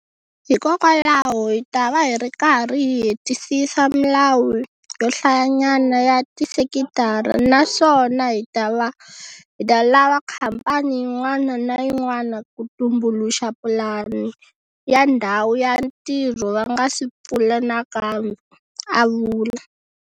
Hikokwalaho hi ta va hi karhi hi hetisisa milawu yo hlayanyana ya tisekitara naswona hi ta lava khamphani yin'wana na yin'wana ku tumbuluxa pulani ya ndhawu ya ntirho va nga si pfula nakambe, a vula.